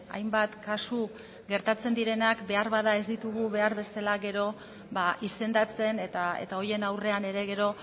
hainbat kasu gertatzen direnak behar bada ez ditugu behar bezala gero izendatzen eta horien aurrean ere gero